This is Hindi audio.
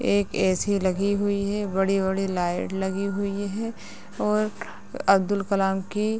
एक ए.सी. लगी हुई है बड़ी-बड़ी लाइट लगी हुई है और अब्दुल कलाम की --